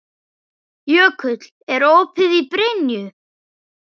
Jökull, er opið í Brynju?